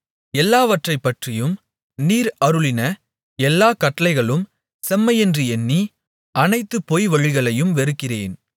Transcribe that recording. எல்லாவற்றைப்பற்றியும் நீர் அருளின எல்லாக் கட்டளைகளும் செம்மையென்று எண்ணி அனைத்து பொய்வழிகளையும் வெறுக்கிறேன்